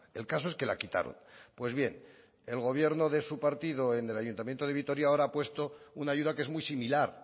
el caso es que la quitaron pues bien el gobierno de su partido en el ayuntamiento de vitoria ahora ha puesto una ayuda que es muy similar